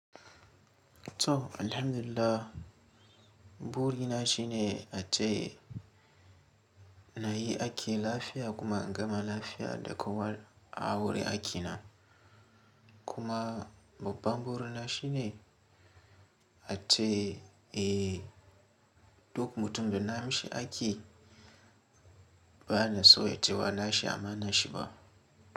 Toh, alhamdulillah, buri na shine ace nayi aiki lafiya kuma in gama lafiya da ƙowa a wuri akina. Kuma babban buri na shine ace eh duk mutum da na amshi aiƙi bana so ya cewa nashi ama nashi ba.